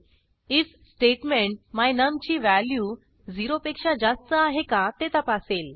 if statement my num ची value 0 पेक्षा जास्त आहे का ते तपासेल